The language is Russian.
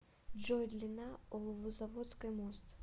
джой длина оловозаводской мост